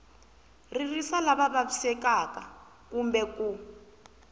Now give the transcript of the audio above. ririsa lava vavisekaka kumbe ku